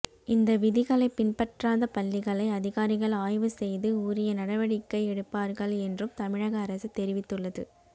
இந்த விதிகளை பின்பற்றாத பள்ளிகளை அதிகாரிகள் ஆய்வு செய்து உரிய நடவடிக்கை எடுப்பார்கள் என்றும் தமிழக அரசு தெரிவித்துள்ளது